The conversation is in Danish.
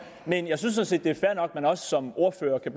men jeg synes sådan set det er fair nok at man også som ordfører kan